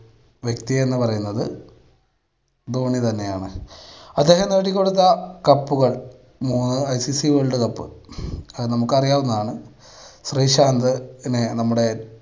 വ്യക്തിയെന്ന് പറയുന്നത് ധോണി തന്നെയാണ്. അദ്ദേഹം നേടികൊടുത്ത cup കൾ മൂന്ന് ICC world cup, നമുക്ക് അറിയാവുന്നതാണ്. ശ്രീശാന്ത് പിന്നെ നമ്മുടെ